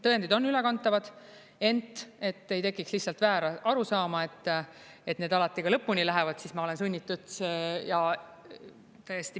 Tõendid on ülekantavad, ent, et ei tekiks lihtsalt väärarusaama, et need alati ka lõpuni lähevad, siis ma olen sunnitud ja täiesti …